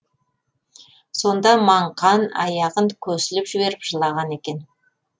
сонда маңқан аяғын көсіліп жіберіп жылаған екен